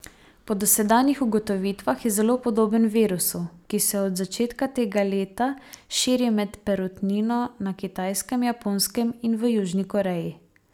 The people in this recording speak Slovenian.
Po dosedanjih ugotovitvah je zelo podoben virusu, ki se od začetka tega leta širi med perutnino na Kitajskem, Japonskem in v Južni Koreji.